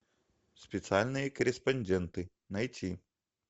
специальные корреспонденты найти